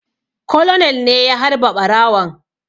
Colonel ne ya harba ɓarawon